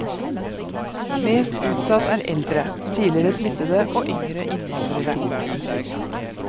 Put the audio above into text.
Mest utsatt er eldre, tidligere smittede og yngre innvandrere.